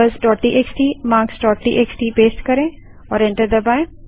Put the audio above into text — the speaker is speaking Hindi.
numbersटीएक्सटी marksटीएक्सटी पेस्ट करें और एंटर दबायें